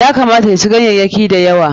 Ya kamata ya ci ganyayyaki da yawa.